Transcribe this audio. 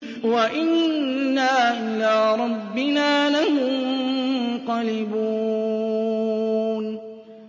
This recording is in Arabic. وَإِنَّا إِلَىٰ رَبِّنَا لَمُنقَلِبُونَ